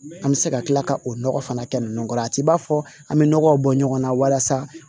An bɛ se ka tila ka o nɔgɔ fana kɛ ninnu kɔrɔ a t'i b'a fɔ an bɛ nɔgɔw bɔ ɲɔgɔn na walasa